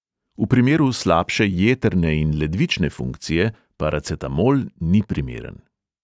V primeru slabše jetrne in ledvične funkcije paracetamol ni primeren.